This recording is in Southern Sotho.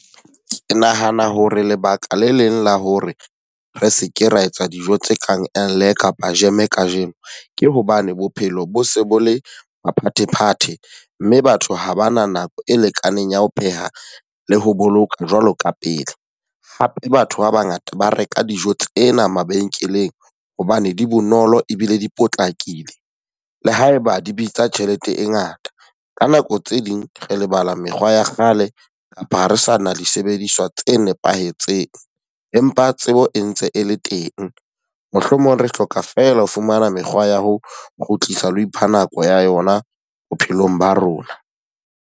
Ke nahana hore lebaka le leng la hore re seke ra etsa dijo tse kang kapa jeme ka jeno. Ke hobane bophelo bo se bo le maphathephathe. Mme batho ha ba na nako e lekaneng ya ho pheha le ho boloka jwalo ka pele. Hape batho ba ba ngata ba reka dijo tsena mabenkeleng hobane di bonolo ebile di potlakile, le haeba di bitsa tjhelete e ngata. Ka nako tse ding re lebala mekgwa ya kgale, kapa ha re sa na disebediswa tse nepahetseng. Empa tsebo e ntse e le teng. Mohlomong re hloka fela ho fumana mekgwa ya ho kgutlisa la ipha nako ya yona bophelong ba rona.